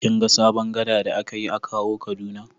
Kin ga sabon gada da aka yi a Kawo Kaduna?